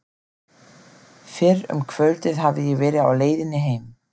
Fyrr um kvöldið hafði ég verið á leiðinni heim.